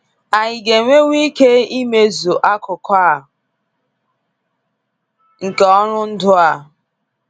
Anyị ga enwewu ike imezu akụkụ a nke ọrụ ndụ a?